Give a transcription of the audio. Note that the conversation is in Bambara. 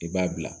I b'a bila